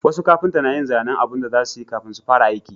Wasu kafinta na yin zanen abun da za su yi kafin su fara aiki